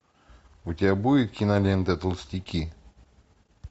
у тебя будет кинолента толстяки